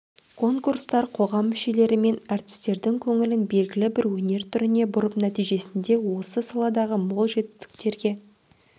конкурстар қоғам мүшелері мен әртістердің көңілін белгілі бір өнер түріне бұрып нәтижесінде осы саладағы мол жетістіктерге